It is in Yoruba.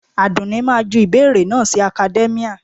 Àdùnní máa ju ìbéèrè náà sí academia